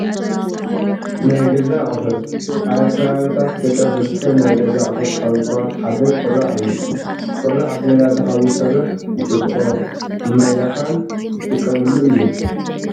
ናይ ገዛ ኣቑሑት፡-ኣብ ከባብታት ገጠር ዝርከብ ናይ ገዛ ኣቑሑት ካብ ዝባሃሉ ሓደ ቁራዕ እዩ፡፡ ቁራዕ ብነዳዲ ሓዊ ዝሰርሕ ንጥጥቆ፣ ንማይ ላፋን ዝጥቀምሉ እዩ፡፡